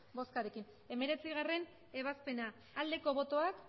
boskarekin hemeretzi aldeko botoak emandako botoak